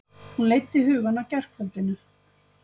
Hún leiddi hugann að gærkvöldinu.